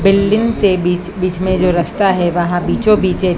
building के बीच बीच में जो रास्ता है वहां बीचो बीच एक--